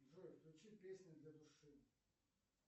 джой включи песни для души